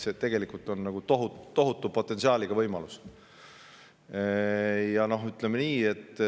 See on tegelikult tohutu potentsiaaliga võimalus.